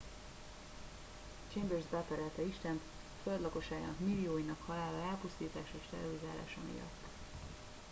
"chambers beperelte istent "a föld lakosságának millióinak halála elpusztítása és terrorizálása" miatt.